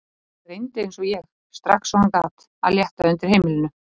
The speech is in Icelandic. Hann reyndi eins og ég, strax og hann gat, að létta undir með heimilinu.